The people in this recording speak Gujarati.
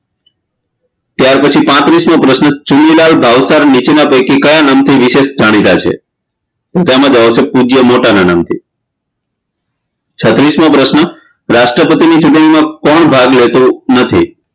ત્યારપછી પાત્રીશમો પ્રશ્ન ચુનીલાલ ભાવસર નીચેના પૈકી કયા નામ થી વિશેષ જાણીતા છે તેમાં આવશે પૂજ્ય મોટાના નામથી છત્તરીશમો પ્રશ્ન રાષ્ટ્રપતિની ચુંટણીમાં કોણ ભાગ લેતું નથી